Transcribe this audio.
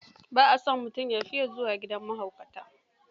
Ba a son mutum ya fiya zuwa gidan mahaukata.